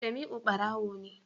Jamiu barawo ne